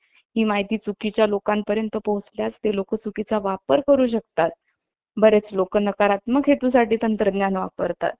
ही माहिती चुकीच्या लोकांपर्यंत पोहोचल्यास ते लोक चुकीचा वापर करू शकतात बरेच लोक नकारात्मक हेतूसाठी तंत्रज्ञान वापरतात